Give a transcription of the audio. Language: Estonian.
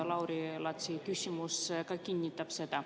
Lauri Laatsi küsimus ka kinnitab seda.